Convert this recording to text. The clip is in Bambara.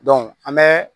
an bɛ